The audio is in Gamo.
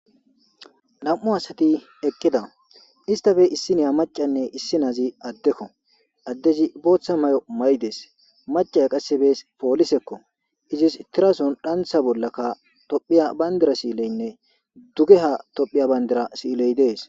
Nam7u asathi eqqida; isththape issi na7iya maccane issinozi addekoo; addezi booththa maayo mayi dees; macciya qassi poolisekoo; izesi sunthazan thera tsanththa bollaka toophphiya banddira siileenne dugehaa banddiraa siilee dees.